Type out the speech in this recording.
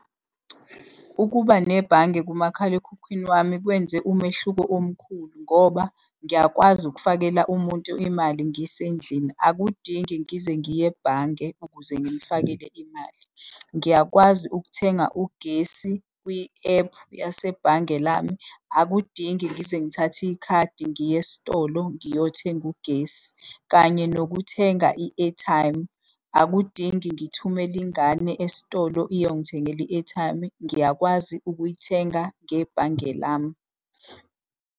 Ukuba nebhange kumakhalekhukhwini wami kwenze umehluko omkhulu ngoba ngiyakwazi ukufakela umuntu imali ngisendlini, akudingi ngize ngiye ebhange ukuze ngimufakele imali. Ngiyakwazi ukuthenga ugesi kwi-ephu yasebhange lami akudingi ngize ngithathe ikhadi ngiye esitolo ngiyothenga ugesi. Kanye nokuthenga i-airtime, akudingi ngithumele ingane esitolo iyongithengela i-airtime ngiyakwazi ukuyithenga ngebhange lami.